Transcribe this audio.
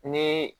Ni